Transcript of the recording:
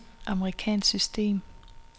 amerikansk system